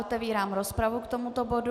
Otevírám rozpravu k tomuto bodu.